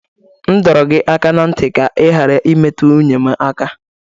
M dọrọ gị aka ná ntị ka ị ghara imetụ nwunye m aka!